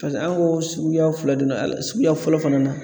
Paseke an ko suguya fila don a la suguya fɔlɔ fana na